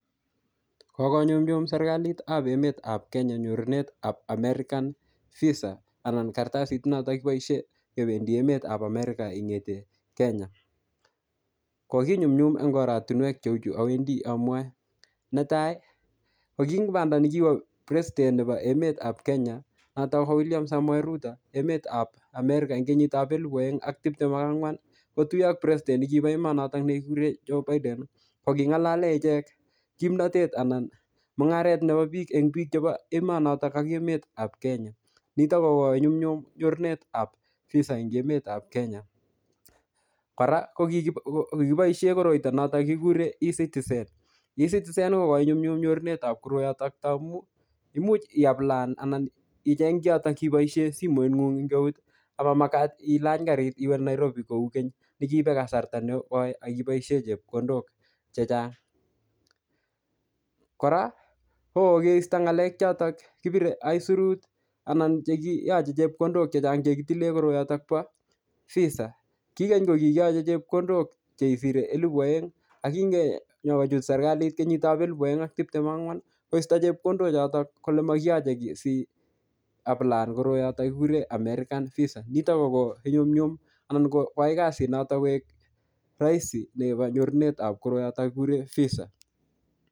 Kokinyunyum serikalitap emetap Kenya akobo nyorunet ap American visa anan karatasit notok kiboisie kebendoi emetap America in'gete Kenya. Kokinyumnyum eng oratunwek chu awendi amwae. Netai ko ki ing banda nekiwo president nebo emetap Kenya, notok ko William Samoei Ruto, enetap America ing kenyitap elepu aeng ak tiptem ak angwan, kotuyo ak president nekibo emonotok ne kikure Joe BIden. Ko king'alale ichek kimnatet anan mung'aret nebo biiik eng biik chebo emonotok ak emetap Kenya. Nitok ko konyumnyum nyorunetab visa eng emetap Kenya. Kora, ko kikibo- ko kikiboisie koroito notok kikure E citizen. E citizen kokoinyumnyum nyorunetab koroitok taamu, imuch iaplana anan icheng kiotok kiboisie simoit ng'ung eng eut. Amamagat ilany karit iwe Nairobi kou keny, ne kiibe kasrata nekoi, akiboisie chepkondok chechang Kora, ko kokeisto ng'alek chotok kipire aisurut anan chekiyache chepkondok chechang che kitile koroitok bo visa. Ki keny ko kikiyache chepkondok chesire elepu aeng. Akingenyokochut serikalit kenyitap elep aeng ak tiptem ak angwan, koisto chepkondok chotok, kole makiyache kiy siaplaan koroyotok kikure American visa. Nitok ko koinyumnyum anan koai kasit notok koek rahisi nebo nyorunetab koroiotok kikure visa.